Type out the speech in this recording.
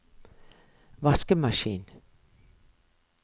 vaskemaskin